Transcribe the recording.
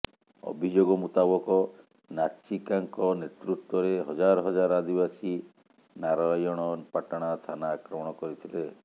ଅଭିଯୋଗ ମୁତାବକ ନାଚିକାଙ୍କ ନେତୃତ୍ୱରେ ହଜାର ହଜାର ଆଦିବାସୀ ନାରୟଣପାଟଣା ଥାନା ଆକ୍ରମଣ କରିଥିଲେ